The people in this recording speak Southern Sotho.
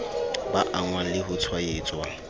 ba angwang le ho tshwaetswa